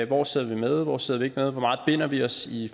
hvor sidder vi med hvor sidder vi ikke med hvor meget binder vi os i